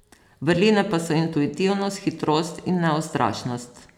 Vrline pa so intuitivnost, hitrost in neustrašnost.